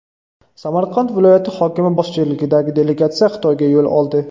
Samarqand viloyati hokimi boshchiligidagi delegatsiya Xitoyga yo‘l oldi.